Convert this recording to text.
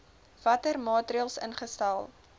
watter maatreëls ingestel